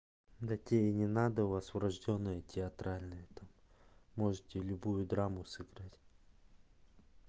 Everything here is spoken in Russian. да тебе и не надо у вас врождённая театральная там можете любую драму сыграть